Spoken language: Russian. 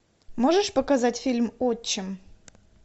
можешь показать фильм отчим